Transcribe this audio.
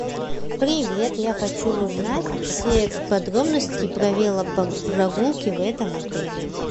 привет я хочу узнать все подробности про велопрогулки в этом отеле